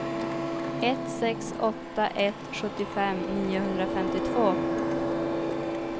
ett sex åtta ett sjuttiofem niohundrafemtiotvå